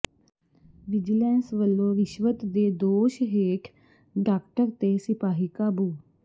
vigilance ਵਲੋਂ ਰਿਸ਼ਵਤ ਦੇ ਦੋਸ਼ ਹੇਠ ਡਾਕਟਰ ਤੇ ਸਿਪਾਹੀ ਕਾਬੂ